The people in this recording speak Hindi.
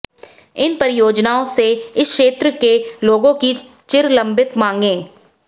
इन परियोजनाओं से इस क्षेत्र के लोगों की चिरलंबित मांगे